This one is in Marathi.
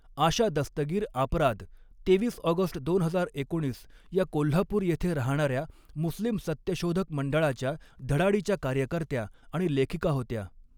आशा दस्तगीर आपराद तेवीस ऑगस्ट दोन हजार एकोणीस या कोल्हापूृर येथे राहणाऱ्या मुस्लिम सत्यशोधक मंडळाच्या धडाडीच्या कार्यकर्त्या आणि लेखिका होत्या.